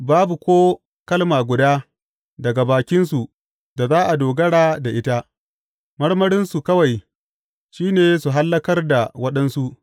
Babu ko kalma guda daga bakinsu da za a dogara da ita; marmarinsu kawai shi ne su hallakar da waɗansu.